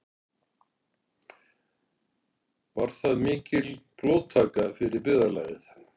Var það mikil blóðtaka fyrir byggðarlagið.